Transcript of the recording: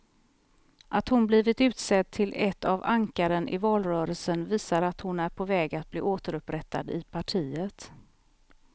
Att hon blivit utsedd till ett av ankaren i valrörelsen visar att hon är på väg att bli återupprättad i partiet.